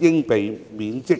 應被免職。